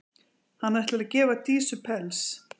Hann ætlar að gefa Dísu pels.